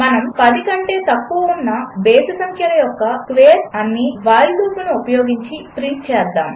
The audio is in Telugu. మనము 10 కంటే తక్కువ ఉన్న బేసి సంఖ్యల యొక్క స్క్వేర్స్ అన్నీ వైల్ లూపును ఉపయోగించి ప్రింట్ చేద్దాము